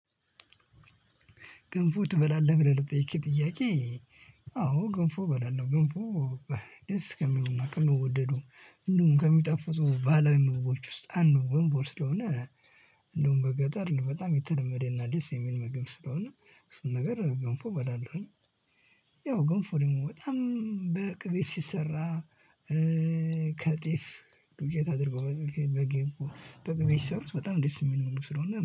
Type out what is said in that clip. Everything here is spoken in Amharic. "ገንፎ ትበላለህ?" ብለህ ለጠየከኝ ጥያቄ፤ አዎ ገንፎ እበላለሁ። ገንፎ ደስ ከሚሉና ከሚወደዱ እንዲሁም ከሚጣፉጡ ባህላዊ ምግቦች ውስጥ አንዱ ገንፎ ስለሆነ፤ እንዲሁም በገጠር በጣም የተለመደ እና ደስየሚል ምግብ ስለሆነ እሱን ነገር ገንፎ በላልሁኝ። ይው ገንፎ ደግሞ በጣም በቅቤ ሲሰራ ከጤፍ፣ ዱቄት አድርገው በግን በቅቤ ሲሰሩት በጣም ደስ የሚል ምግብ ስለሆነ